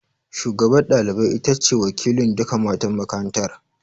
Shugabar ɗalibai ita ce wakilin duka matan makarantar